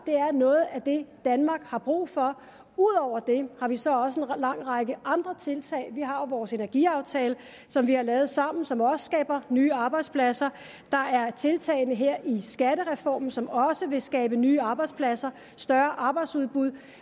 er noget af det danmark har brug for ud over det har vi så også en lang række andre tiltag vi har jo vores energiaftale som vi har lavet sammen og som også skaber nye arbejdspladser der er tiltagene her i skattereformen som også vil skabe nye arbejdspladser og større arbejdsudbud